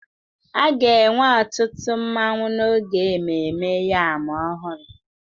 A ga-enwe ọtụtụ nmanwu n'oge ememme yam ọhụrụ